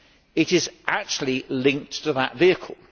It is actually linked to that vehicle.